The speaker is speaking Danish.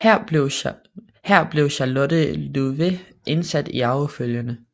Her blev Charlotte Louvet indsat i arvefølgen